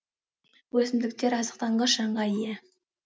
өсімдіктер азықтанғыш жанға ие